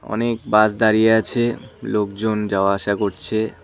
অনেক বাস দাঁড়িয়ে আছে লোকজন যাওয়া আসা করছে।